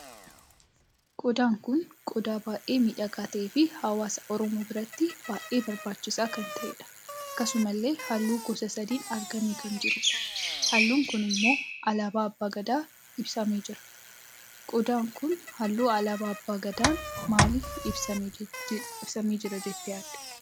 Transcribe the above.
Qofaan kun qodaa baay'ee miidhagaa taheef hawaasa Oromoo biratti baay'ee barbaachisaa kan taheedha. akkasumallee halluu gosa sadiin argamee kan jirudha. halluu kun immoo alaabaa abbaa Gadaa ibsamee jira. qodaan kun halluu alaabaa abbaa Gadaan maaliif ibsamee jira jettee yaadda?